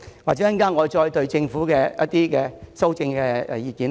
我稍後會再就政府的修正案發表我的看法。